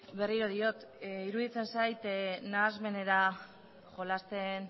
berriro diot iruditzen zait nahasmenera jolasten